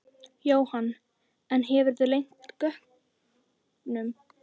Jóhann: En hefurðu leynt gögnum?